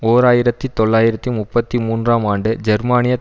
ஓர் ஆயிரத்தி தொள்ளாயிரத்தி முப்பத்தி மூன்றாம் ஆண்டு ஜெர்மானியத்